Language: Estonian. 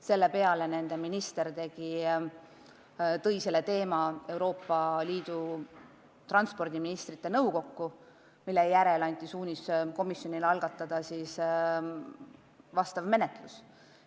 Selle peale tõi Soome minister teema Euroopa Liidu transpordiministrite nõukokku, mille järel anti komisjonile suunis algatada vastav menetlus.